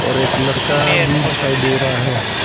और एक लड़का भी दिखाई दे रहा है।